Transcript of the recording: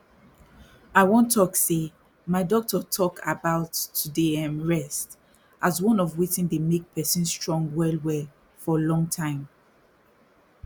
i wan talk say my doctor talk about to dey erm rest as one of watin dey make person strong well well for long time